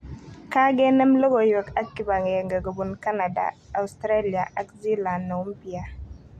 kagenem logoiwek ak kipagenge kopun Kanada, Australya ak Zealand neumpya